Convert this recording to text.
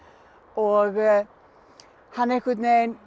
og hann einhvern veginn